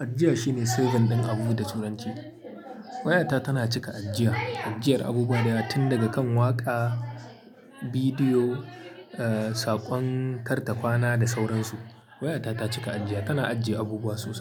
Ajiya shine saving ɗin abu da turanci. Wayata tana cika ajiya, ajiyar abubuwa da yawa tin daga kan waƙa, bidiyo, eh saƙon kar ta kwana da sauransu. Wayata ta cika ajiya, tana ajiye abubuwa sosai.